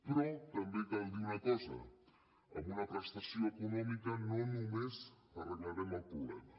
però també cal dir una cosa amb una prestació econòmica només no arreglarem el problema